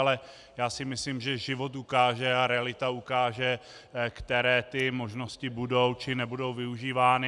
Ale já si myslím, že život ukáže a realita ukáže, které ty možnosti budou či nebudou využívány.